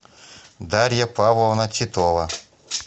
дарья павловна титова